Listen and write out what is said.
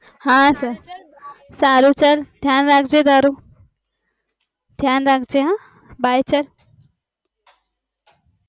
હા સારું ચલ ધ્યાન રાખજે તારું, ધ્યાન રાખજે હ bye ચલ